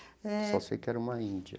É. Só sei que era uma índia.